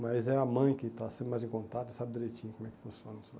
Mas é a mãe que está sempre mais em contato e sabe direitinho como é que funciona isso lá.